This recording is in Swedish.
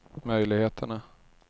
möjligheterna